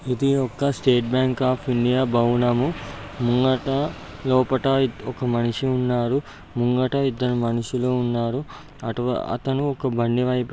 ఇది ఒక state bank of India యొక్క భవనము. ముందుట లోపల ఒక మనిషి ఉన్నాడు. ముందట ఇద్దరు మనుషులు ఉన్నారు. అతను ఒక బండి వైపుగా--